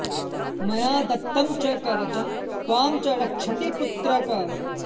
मया दत्तं च कवचं त्वां च रक्षति पुत्रक